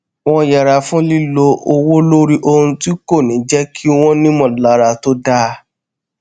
wón yẹra fún lílo owó lórí ohun tí kò ní jé kí wón nímòlára tó dáa